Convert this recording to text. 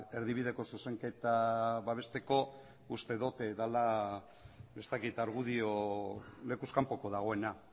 erdibideko zuzenketa babesteko uste dut dela ez dakit argudio lekuz kanpoko dagoena